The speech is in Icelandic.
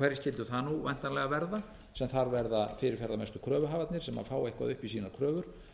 hverjir skyldu það nú væntanlega verða sem þar verða fyrirferðarmestu kröfuhafarnir sem fá eitthvað upp í sínar kröfur